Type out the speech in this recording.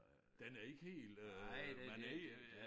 Den er ikke helt øh man er ikke øh